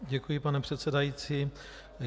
Děkuji, pane předsedající.